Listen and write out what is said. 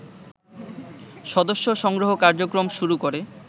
সদস্য সংগ্রহ কার্যক্রম শুরু করে